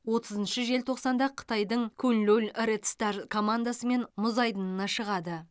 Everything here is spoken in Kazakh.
отызыншы желтоқсанда қытайдың куньлунь ред стар командасымен мұз айдынына шығады